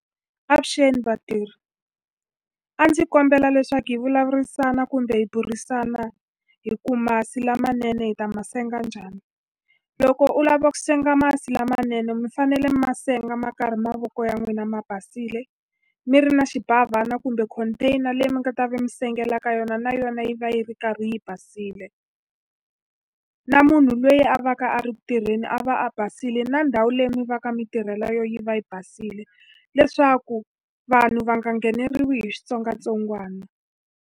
Avuxeni vatirhi. A ndzi kombela leswaku hi vulavurisana kumbe hi burisana hi ku va masi lamanene hi ta ma senga njhani. Loko u lava ku senga masi lamanene mi fanele mi ma senga ma karhi mavoko ya n'wina ma basile, mi ri na xibavhana kumbe container leyi mi nga ta va mi sengela ka yona, na yona yi va yi ri karhi yi basile. Na munhu loyi a va ka a ri ku tirheni a va a basile, na ndhawu leyi mi va ka mitirhela eka yona yi va yi basile. Leswaku vanhu va nga ngheneriwi hi switsongwatsongwana.